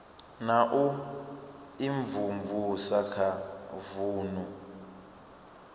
na u imvumvusa kha vunu